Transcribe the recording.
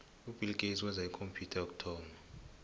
ubill gates wenza ikhompyutha yokuthoma